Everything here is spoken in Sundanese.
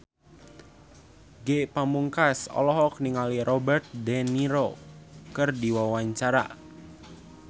Ge Pamungkas olohok ningali Robert de Niro keur diwawancara